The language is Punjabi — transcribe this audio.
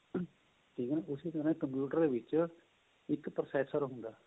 ਠੀਕ ਏ ਨਾ ਉਸੀ ਤ੍ਹਰਾਂ computer ਦੇ ਵਿੱਚ ਇੱਕ processor ਹੁੰਦਾ